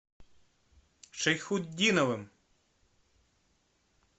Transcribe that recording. шайхутдиновым